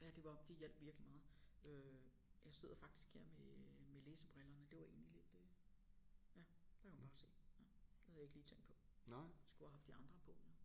Ja det var det hjalp virkelig meget øh jeg sidder faktisk her med med læsebrillerne det var egentlig lidt øh ja der kan man bare se havde jeg ikke lige tænkt på skulle have haft de andre på jo